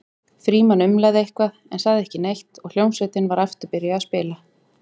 Frímann umlaði eitthvað en sagði ekki neitt og hljómsveitin var aftur byrjuð að spila.